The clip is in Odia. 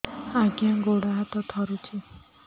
ଆଜ୍ଞା ଗୋଡ଼ ହାତ ଥରୁଛି